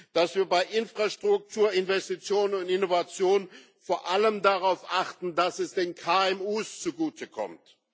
dass wir bei Infrastrukturinvestitionen und —innovationen vor allem darauf achten, dass es den KMU zugutekommt